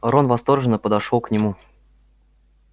рон восторженно подошёл к нему